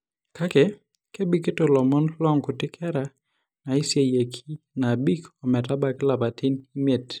Kake, kebikito ilomon loonkuti kera naiseyieki naabik ometabaiki ilapaitin imiet.